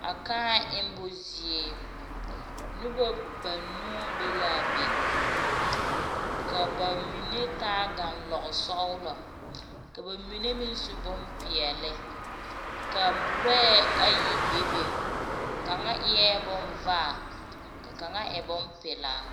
A kᾱᾱ emmo zie, noba banuu be laa be. Ka ba mine taa ganlɔgesɔglɔ, ka ba mine meŋ su bompeɛle, ka lɔɛ ayi be be , ka kaŋa e bonzeɛ, ka kaŋa e bompelaa.